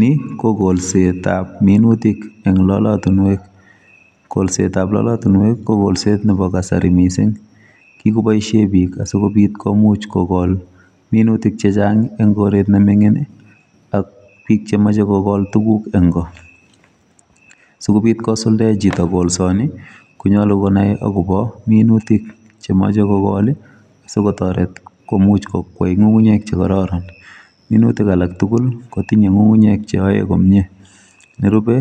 Ni ko kolsetab minutik eng' lolotunwek. Kolsetab lolotunwek, ko kolset nebo kasari missing. Kikoboisie biik asikobit komuch kogol minutik chechang' eng' koret ne ming'in, ak biik chemache kogol tuguk eng' koo. Sikobit kosuldae chito kolsani, konyolu konai akobo minutik chemache kogol, sikotoret komuch kokwei ng'ung'unyek che kararan. Minutik alak tugul, kotinye ng'ung'unyek che ae komyee. Nerube,